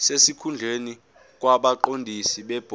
sesikhundleni kwabaqondisi bebhodi